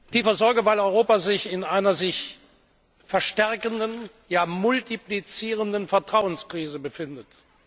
Tiefer Sorge, weil Europa sich in einer sich verstärkenden, ja multiplizierenden Vertrauenskrise befindet.